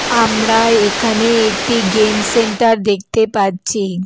আমরা একানে একটি গেম সেন্টার দেখতে পাচ্ছি গেম --